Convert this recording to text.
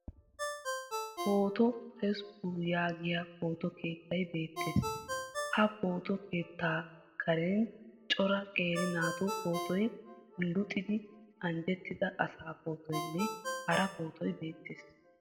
Pooto Tesppuu yaagiya pooto keettay beettees. Ha pooto keettaa karen cora qeera naatu pootoy, luxidi anjjettida asaa pootoynne hara pootoy beettees.